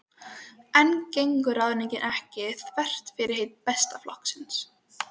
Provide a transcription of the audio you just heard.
En gengur ráðningin ekki þvert á fyrirheit Besta flokksins?